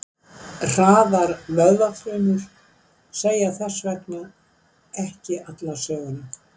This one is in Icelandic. Hraðar vöðvafrumur segja þess vegna ekki alla söguna.